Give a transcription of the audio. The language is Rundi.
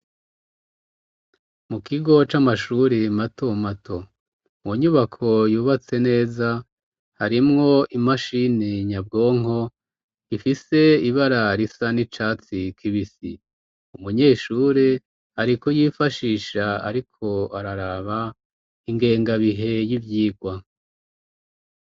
Mu kigo c'amashuri mato mato, mu nyubako yubatse neza, harimwo imashini nyabwonko ifise ibara risa n'icatsi kibisi, umunyeshure ari kuyifashisha ariko araraba ingengabihe y'ivyigwa.